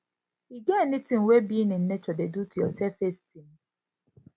e get any thing wey being in nature dey do to your self esteem